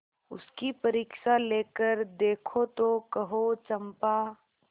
उसकी परीक्षा लेकर देखो तो कहो चंपा